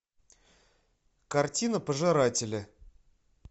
картина пожиратели